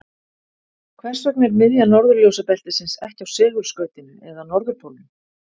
Hvers vegna er miðja norðurljósabeltisins ekki á segulskautinu eða norðurpólnum?